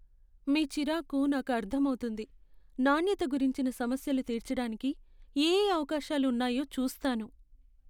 మీ చిరాకు నాకు అర్థమవుతుంది, నాణ్యత గురించిన సమస్యలు తీర్చటానికి ఏఏ అవకాశాలు ఉన్నాయో చూస్తాను.